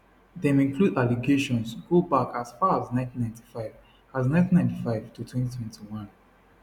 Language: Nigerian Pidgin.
dem include allegations go back as far as 1995 as 1995 to 2021